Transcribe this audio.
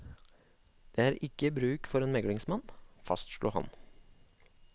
Det er ikke bruk for en meglingsmann, fastslo han.